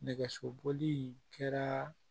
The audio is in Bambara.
Nɛgɛsoboli in kɛra